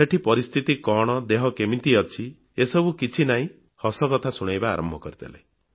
ସେଠି ପରିସ୍ଥିତି କଣ ଦେହ କେମିତି ଅଛି ଏସବୁ କିଛି ନାହିଁ ହସକଥା ଶୁଣାଇବା ଆରମ୍ଭ କରିଦେଲେ